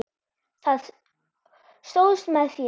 Stóðst með mér.